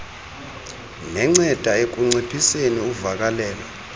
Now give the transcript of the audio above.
nenceda ekunciphiseni uvakalelo